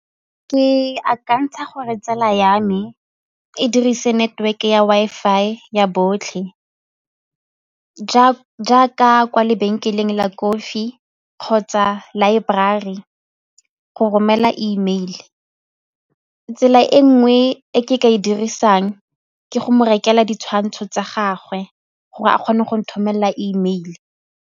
Ke akantsha gore tsala ya me e dirise network ya Wi-Fi ya botlhe jaaka kwa lebenkeleng la kofi kgotsa laeborari go romela E mail. Tsela e nngwe e ke ka e dirisang ke go mo rekela ditshwantsho tsa gagwe gore a kgone go nthomelela E mail.